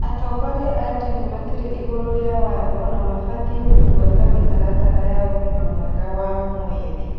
Atongoria a dini matirĩ igũrũ rĩa watho na mabatiĩ gũbũata mĩtaratara ya ũgima mwega wa mwĩrĩ